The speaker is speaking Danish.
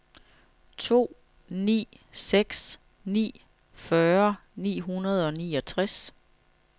to ni seks ni fyrre ni hundrede og niogtres